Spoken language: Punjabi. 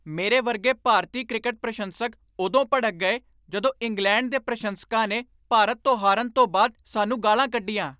ਮੇਰੇ ਵਰਗੇ ਭਾਰਤੀ ਕ੍ਰਿਕਟ ਪ੍ਰਸ਼ੰਸਕ ਉਦੋਂ ਭੜਕ ਗਏ ਜਦੋਂ ਇੰਗਲੈਂਡ ਦੇ ਪ੍ਰਸ਼ੰਸਕਾਂ ਨੇ ਭਾਰਤ ਤੋਂ ਹਾਰਨ ਤੋਂ ਬਾਅਦ ਸਾਨੂੰ ਗਾਲ੍ਹਾਂ ਕੱਢੀਆਂ।